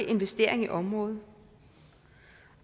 investeringer i området